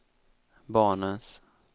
barnens